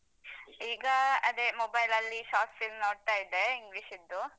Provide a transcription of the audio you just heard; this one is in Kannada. ಈಗ ಅದೇ mobile ಲಲ್ಲಿ short film ನೋಡ್ತಾಯಿದ್ದೆ English ದ್ದು.